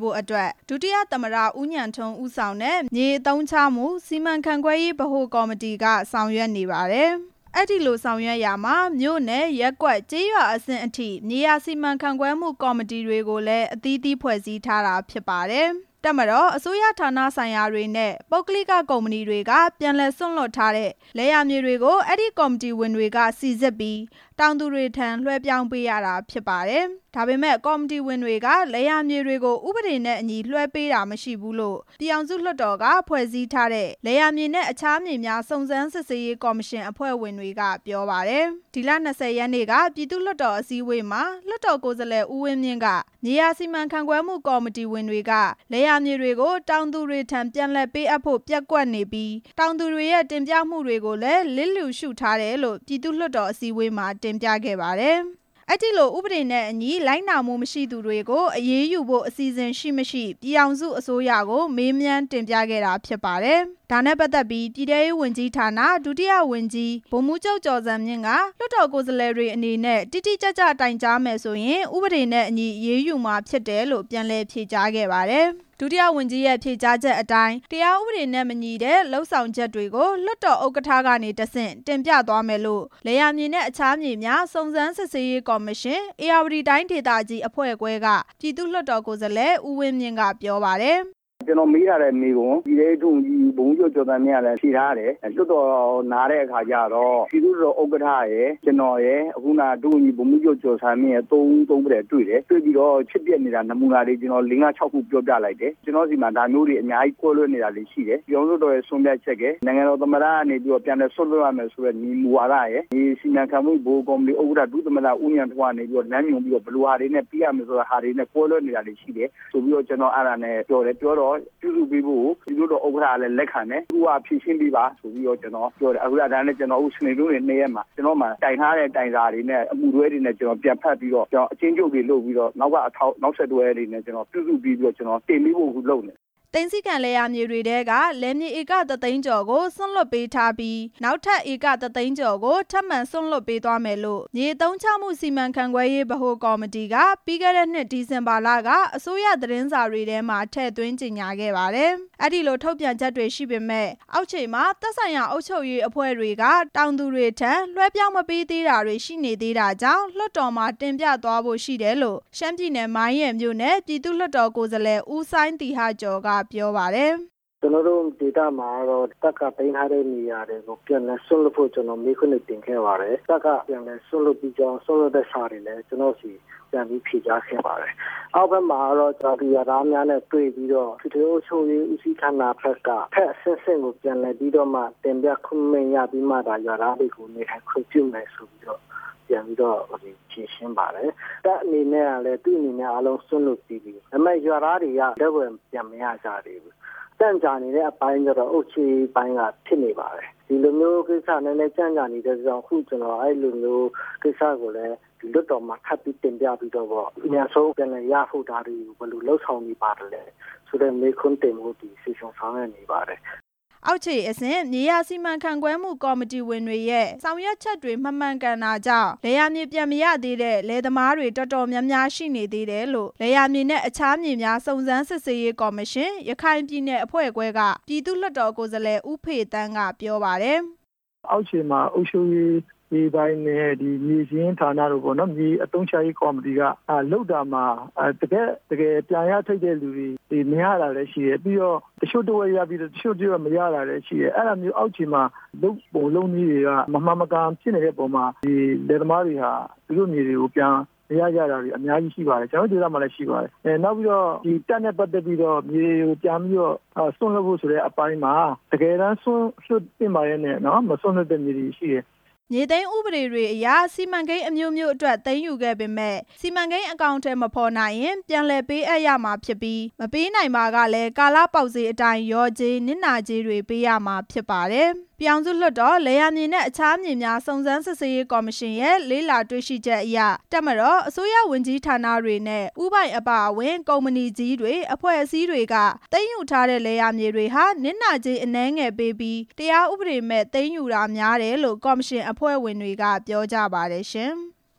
ဖို့အတွက် ဒုတိယသမ္မတ ဦးဉာဏ်ထွန်း ဦးဆောင်တဲ့ မြေအသုံးချမှုစီမံခန့်ခွဲရေး ဗဟိုကော်မတီက ဆောင်ရွက်နေပါတယ်။ အဲ့ဒီလိုဆောင်ရွက်ရာမှာ မြို့နယ်၊ ရပ်ကွက်၊ ကျေးရွာအဆင့်ထိ မြေယာစီမံခန့်ခွဲမှုကော်မတီတွေကိုလည်း အသီးသီး ဖွဲ့စည်းထားတာဖြစ်ပါတယ်။ တပ်မတော်၊ အစိုးရဌာနဆိုင်ရာတွေနဲ့ ပုဂ္ဂလိကကုမ္ပဏီတွေက ပြန်လည်စွန့်လွှတ်ထားတဲ့ လယ်ယာမြေတွေကို အဲ့ဒီကော်မတီဝင်တွေက စိစစ်ပြီး တောင်သူတွေထံ လွဲှပြောင်းပေးရတာဖြစ်ပါတယ်။ ဒါပေမယ့် အဲ့ဒီကော်မတီဝင်က လယ်ယာမြေတွေကို ဥပဒေနဲ့အညီ လွဲှပေးတာတွေမရှိဘူးလို့ ပြည်ထောင်စုလွှတ်တော်က ဖွဲ့စည်းထားတဲ့ လယ်ယာမြေနဲ့အခြားမြေများ စုံစမ်းစစ်ဆေးရေးကော်မရှင် အဖွဲ့ဝင်တွေက ပြောပါတယ်။ ဒီလ ၂ဝ ရက်နေ့က ပြည်သူ့လွှတ်တော်အစည်းအဝေးမှာ လွှတ်တော်ကိုယ်စားလှယ် ဦးဝင်းမြင့်က မြေယာစီမံခန့်ခွဲ မှုကော်မတီဝင်တွေက လယ်ယာမြေတွေကို တောင်သူတွေထံ ပြန်လည်ပေးအပ်ဖို့ ပျက်ကွက်နေပြီး တောင်သူတွေရဲ့ တင်ပြမှုတွေကို လျစ်လျူရှုထားတယ်လို့ ပြည်သူ့လွှတ်တော်မှာ တင်ပြခဲ့ပါတယ်။ ဒါကြောင့် အဲ့ဒီလိုဥပဒေနဲ့အညီ လိုက်နာ မှုမရှိသူတွေကို အရေးယူဖို့ အစီအစဉ် ရှိ၊ မရှိ ပြည်ထောင်စုအစိုးရကို မေးမြန်းတင်ပြခဲ့ပါတယ်။ ဒါနဲ့ပတ်သက်ပြီး ဒုတိယဝန်ကြီး ဗိုလ်မှူးချုပ် ကျော်ဇံမြင့်က လွှတ်တော်ကိုယ်စားလှယ်တွေအနေနဲ့ တိတိကျကျတိုင်ကြား မယ်ဆိုရင် ဥပဒေနဲ့အညီ အရေးယူမှာဖြစ်တယ်လို့ ပြန်လည်ဖြေကြားခဲ့တာပါ။ ဒုတိယဝန်ကြီးနဲ့ ဖြေကြားချက်အတိုင်း တရားဥပဒေနဲ့မညီတဲ့ လုပ်ဆောင်ချက်တွေကို လွှတ်တော်ဥက္ကဌကနေ တဆင့် တင်ပြသွားမယ်လို့ လယ်ယာမြေနဲ့ အခြားမြေများ စုံစမ်းစစ်ဆေးရေးကော်မရှင် ဧရာဝတီတိုင်းဒေသကြီးအဖွဲ့ခွဲက ပြည်သူ့ လွှတ်တော် ကိုယ်စားလှယ် ဦးဝင်းမြင့်က ပြောပါတယ်။ ကျနော်မေးထားတဲ့မေးခွန်း ပြည်ထဲရေးဒုဝန်ကြီး ဗိုလ်မှူးချုပ်ကျော်ဇံမြင့်ကလည်း ဖြေထား တယ်၊ လွှတ်တော်နားတဲ့အခါကျတော့ ပြည်သူ့လွှတ်တော်ဥက္ကဌရယ်၊ ကျနော်ရယ်၊ အခုနက ဒုဝန်ကြီး ဗိုလ်မှူး ချုပ်ကျော်ဇံမြင့်ရယ် ၂ ဦးတွေ့ပြီးတော့ ဖြစ်ပျက်နေတာ နမူနာတွေ လေးငါးခြောက်ခု ပြောပြလိုက်တယ်၊ ကျနော်ဆီမှာ ဒါမျိုးတွေ အများကြီးကွဲလွဲနေတာတွေရှိတယ်၊ ပြည်ထောင်စုလွှတ်တော်ရဲ့ ဆုံးဖြတ်ချက်ရယ်၊ နိုင်ငံတော်သမ္မတ ကနေ ပြန်လည်စွန့်လွှတ်ရမယ်ဆိုတဲ့ မူဝါဒရယ်၊ ဒီစီမံခန့်ခွဲမှု ဗဟိုကော်မတီဥက္ကဌ ဒုသမ္မတ ဦးဉာဏ်ထွန်းကနေပြီးတော့ လမ်းညွှန်ပြီးတော့ ဘယ်လိုဟာတွေ ပြီးရမယ်ဆိုတာတွေနဲ့ ကွဲလွဲနေတာတွေရှိတယ်ဆိုပြီးတော့ ကျနော်အဲ့ဒါနဲ့ပြောတယ် ၊ ပြောတော့ပြုလုပ်ပေးဖို့ကို ပြည်သူ့လွှတ်တော်ဥက္ကဌကလည်း လက်ခံတယ်၊ စနေ၊ တနင်္ဂနွေ ၂ ရက်မှာ တိုင်ထားတဲ့ တိုင်စာတွေနဲ့ အမှုတွဲတွေနဲ့ ကျနော်ပြန်ဖတ်ပြီးတော့ ကျနော်အကျဉ်းချုပ်တွေလုပ်ပြီးတော့ နောက်ခံနောက်ဆက်တွဲတွေနဲ့ ကျနော်ပြုစုပေးပြီးတော့ ကျနော်တင်ပေးဖို့အခုလုပ်နေတယ်။ ပြီးခဲ့တဲ့နှစ် ဒီဇင်ဘာလက သိမ်းဆည်းခံလယ်ယာမြေတွေထဲက လယ်မြေဧက ၁ သိန်းကျော်ကို စွန့်လွှတ်ပေးထား ပြီး နောက်ထပ်ဧက ၁ သိန်းကျော်ကို ထပ်မံစွန့်လွှတ်ပေးသွားမယ်လို့ မြေအသုံးချမှုစီမံခန့်ခွဲရေး ဗဟိုကော်မတီက အစိုးရသတင်းစာတွေမှာ ထည့်သွင်းကြေညာခဲ့ပါတယ်။ အဲ့ဒီလို ထုတ်ပြန်ကြေညာမှုတွေရှိပေမယ့် အောက်ခြေမှာ သက်ဆိုင်ရာ အုပ်ချုပ်ရေးအဖွဲ့က တောင်သူတွေထံ လွဲှပြောင်း မပေးသေးတာတွေကို တင်ပြသွားမယ်လို့ ရှမ်းပြည်နယ်၊ မိုင်းရယ်မြို့နယ် ပြည်သူ့လွှတ်တော်ကိုယ်စားလှယ် ဦးစိုင်းသီဟကျော်က ပြောပါတယ်။ ကျနော်တို့ဒေသမှာကတော့ တပ်ကသိမ်းထာတဲ့မြေယာတွေကို ပြန်လည်စွန့်လွှတ်ဖို့ ကျနော်မေးခွန်းတွေတင်ခဲ့ပါတယ်၊ တပ်ကပြန်လည်စွန့်လွှတ်ပြီးတော့ စွန့်လွှတ်တဲ့စာတွေလည်း ကျနော်ပြန်လည်ဖြေ ကြားခဲ့ပါတယ်၊ အောက်ဘက်မှာတော့ ရွာသူရွာသားများနဲ့ တွေ့ပြီးတော့ အထွေထွေအုပ်ချုပ်ရေးဦးစီးဌါနဘက်က အထက်အဆင့်ဆင့်ကို ပြန်လည်ပြီးတော့မှ တင်ပြခွင့်ရပြီးမှသာ ရွာသားတွေကိုနေထိုင်ခွင့်ပြုမယ်ဆိုတော့ ပြန် ပြီးတော့ဖြေရှင်းပါတယ်၊ တပ်အနေနဲ့ကလည်း သူ့မြေများအားလုံးစွန့်လွှတ်ပြီးပြီ၊ ဒါပေမယ့် ရွာသားတွေက လက်ဝယ်ပြန် မရကြသေးဘူး၊ ကြန့်ကြာနေတဲ့အပိုင်းကျတော့ အုပ်ချုပ်ရေးပိုင်းကဖြစ်နေပါတယ်၊ ဒီလိုမျိုးကိစ္စ နည်းနည်းလေးကြန့် ကြာနေတဲ့အတွက်ကြောင့် အခုကျနော် အဲ့လိုမျိုးကိစ္စကိုလည်း လွှတ်တော်မှာ ထပ်ပြီးတင်ပြပေးသွားမယ်ပေါ့၊ အမြန်ဆုံးပြန်လည်ရရှိဖို့ ဒါတွေဘယ်လိုလုပ်ဆောင်နေပါတယ်ဆိုတဲ့ မေးခွန်းတင်ဖို့ စီစဉ်ဆောင်ရွက်နေပါတယ်။ အောက်ခြေအဆင့် မြေယာစီမံခန့်ခွဲမှု ကော်မတီဝင်တွေရဲ့ ဆောင်ရွက်ချက်တွေ လွဲမှားနေတာကြောင့် လယ်ယာမြေပြန် မရတဲ့ လယ်သမားတွေ အတော်များတယ်လို့ လယ်ယာမြေနဲ့ အခြားမြေများ စုံစမ်းစစ်ဆေးရေးကော်မရှင် ရခိုင်ပြည်နယ် အဖွဲ့ခွဲက ပြည်သူ့လွှတ်တော် ကိုယ်စားလှယ် ဦးဖေသန်းက ပြောပါတယ်။ အောက်ခြေမှာ အုပ်ချုပ်ရေးပိုင်းလည်း မြေစာရင်းဌါနတို့ပေါ့နော်၊ မြေအသုံးချရေး ကော်မတီ ကလုပ်တာမှာ တကယ့်တကယ် ပြန်ရထိုက်တဲ့လူတွေ မရတာလည်းရှိတယ်၊ ပြီးတော့ တစ်ချို့တစ်ဝက်ရပြီးတော့၊ တစ်ချို့တစ်ဝက်မရတာတွေလည်းရှိတယ်၊ အောက်ခြေမှာ လုပ်ပုံလုပ်နည်းတွေက မမှန်မကန်ဖြစ်နေတဲ့အပေါ်မှာ ဒီလယ်သမားတွေဟာ သူတို့မြေတွေကို ပြန်မရကြတာတွေ အများကြီးရှိပါတယ်၊ ကျနော်တို့ဒေသမှာလည်းရှိပါတယ် ၊ နောက်ပြီးတော့ တပ်နဲ့ပတ်သက်ပြီးတော့ မြေပြန်ပြီးတော့ စွန်လွှတ်ဖို့ဆိုတဲ့အပိုင်းမှာ တကယ်တမ်းစွန့်လွှတ်သင့်ပါ လျှက်နဲ့ မစွန့်လွှတ်တဲ့မြေတွေရှိတယ်။ မြေသိမ်းဥပဒေတွေအရ စီမံကိန်းအမျိုးမျိုးအတွက် သိမ်းယူခဲ့ပေမယ့် စီမံကိန်းအကောင်အထည်မဖော်နိုင်ရင် ပြန် လည်ပေးအပ်ရမှာဖြစ်ပြီး မပေးနိုင်ပါက ကာလပေါက်ဈေးအတိုင်း လျော်ကြေး၊ နစ်နာကြေးတွေ ပေးရမှာဖြစ်ပါတယ်။ ပြည်ထောင်စုလွှတ်တော် လယ်ယာမြေနဲ့ အခြားမြေများ စုံစမ်းစစ်ဆေးရေးကော်မရှင်ရဲ့ လေ့လာတွေ့ရှိချက်အရ တပ်မတော်၊ အစိုးရဝန်ကြီးဌာနတွေနဲ့ ဦးပိုင်အပါအဝင် ကုမ္ပဏီကြီးတွေ၊ အဖွဲ့အစည်းတွေက သိမ်းယူထားတဲ့ လယ်မြေတွေဟာ နစ်နာကြေးအနည်းငယ်ပေးပြီး တရားဥပဒေမဲ့ သိမ်းယူတာများတယ်လို့ ကော်မရှင် အဖွဲ့ဝင်တွေ က ပြောကြပါတယ်ရှင်။